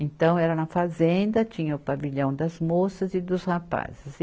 Então, era na fazenda, tinha o pavilhão das moças e dos rapazes.